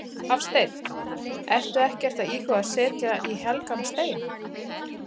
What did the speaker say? Hafsteinn: Og ertu ekkert að íhuga að setja í helgan stein?